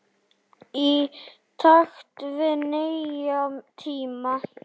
Í takt við nýja tíma.